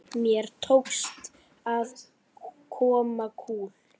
Mér tókst að koma kúl